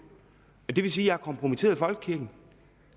det vil sige har kompromitteret folkekirken